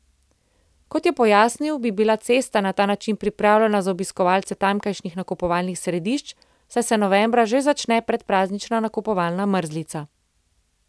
Kot je pojasnil, bi bila cesta na ta način pripravljena za obiskovalce tamkajšnjih nakupovalnih središč, saj se novembra že začne predpraznična nakupovalna mrzlica.